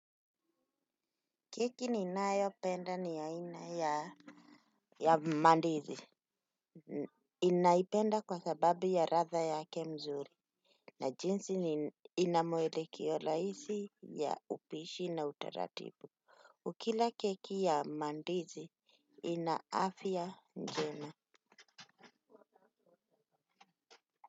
Keki ninayopenda ni aina ya mandizi. Ninaipenda kwa sababu ya ladha yake mzuri. Na jinsi ni ina mwelekeo rahisi ya upishi na utaratibu. Ukila keki ya mandizi ina afya njema.